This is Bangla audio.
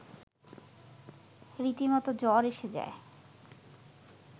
রীতিমতো জ্বর এসে যায়